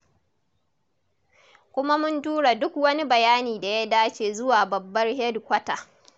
Kuma mun tura duk wani bayani da ya dace zuwa babbar hedikwata.